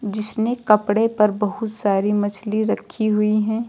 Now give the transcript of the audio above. जिसने कपड़े पर बहुत सारी मछली रखी हुई हैं।